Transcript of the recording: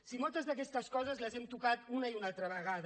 si moltes d’aquestes coses les hem tocat una i una altra vegada